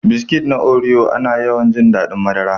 Biskit na Oreo, ana yawan jin daɗin madara.